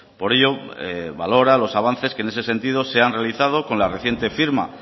por ello valora los avances que en ese sentido se han realizado con la reciente firma